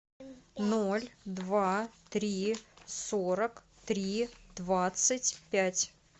ноль два три сорок три двадцать пять